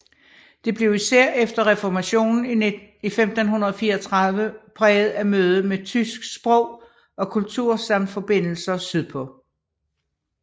Det blev især efter reformationen i 1534 præget af mødet med tysk sprog og kultur samt forbindelser sydpå